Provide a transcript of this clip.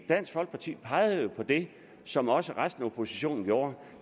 dansk folkeparti pegede jo på det som også resten af oppositionen gjorde